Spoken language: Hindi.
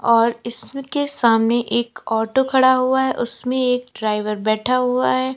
और इसके सामने एक ऑटो खड़ा हुआ है उसमें एक ड्राइवर बैठा हुआ है।